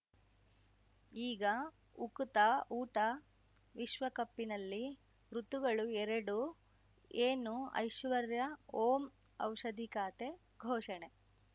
ಈಗ ಉಕುತ ಊಟ ವಿಶ್ವಕಪ್ಪಿನಲ್ಲಿ ಋತುಗಳು ಎರಡು ಏನು ಐಶ್ವರ್ಯಾ ಓಂ ಔಷಧಿ ಖಾತೆ ಘೋಷಣೆ